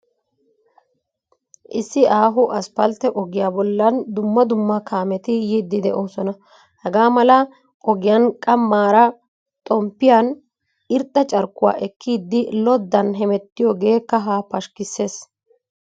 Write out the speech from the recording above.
Issi aaho asppaltte ogiyaa bollan dumma dumma kaameti yiiddi de'oosona. Hagaa mala ogiyan qammaara xomppiyan irxxa carkkuwaa ekkidi loddan hemettiyoogee kahaa pashkkissees.